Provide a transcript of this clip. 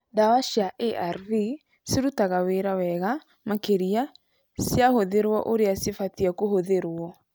Ndawa cia ARV cirutaga wĩra wega makĩria cia hũthĩrwo ũrĩa cibatie kũhũthĩruo.